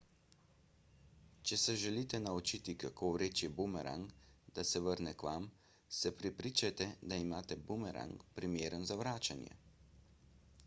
če se želite naučiti kako vreči bumerang da se vrne k vam se prepričajte da imate bumerang primeren za vračanje